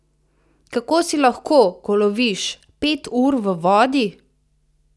Kako si lahko, ko loviš, pet ur v vodi?